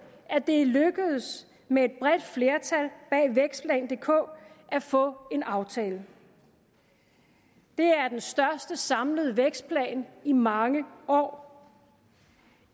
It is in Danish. at det er lykkedes med et bredt flertal bag vækstplan dk at få en aftale det er den største samlede vækstplan i mange år